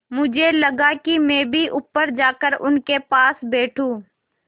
मुझे लगा कि मैं भी ऊपर जाकर उनके पास बैठूँ